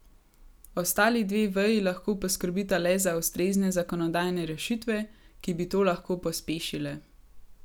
Ostali dve veji lahko poskrbita le za ustrezne zakonodajne rešitve, ki bi to lahko pospešile.